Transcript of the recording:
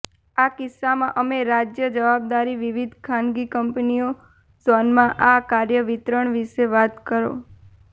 આ કિસ્સામાં અમે રાજ્ય જવાબદારી વિવિધ ખાનગી કંપનીઓ ઝોનમાં આ કાર્ય વિતરણ વિશે વાત કરો